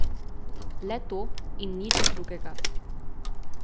Le to, in nič drugega.